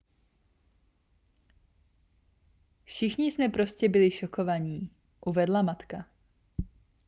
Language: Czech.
všichni jsme prostě byli šokovaní uvedla matka